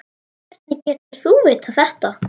Hvernig getur þú vitað þetta?